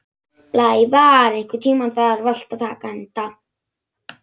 Blævar, einhvern tímann þarf allt að taka enda.